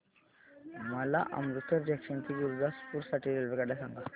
मला अमृतसर जंक्शन ते गुरुदासपुर साठी रेल्वेगाड्या सांगा